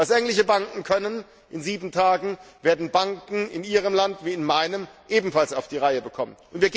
Was englische Banken in 7 Tagen können, werden Banken in Ihrem Land wie in meinem ebenfalls auf die Reihe bekommen.